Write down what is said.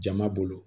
Jama bolo